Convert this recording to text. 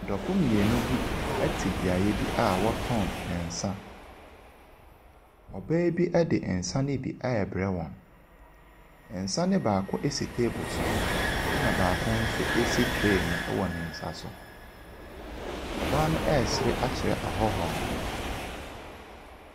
Adɔfo mmienu bi te beaeɛ bia wɔtɔn nsa. Ɔbaa bi de nsa ne bi ɛrebrɛ wɔn, nsa ne baako si table so na baako nso si tray mu wɔ ne nsa so. Ɔbaa no ɛresere akyerɛ ahɔhoɔ no.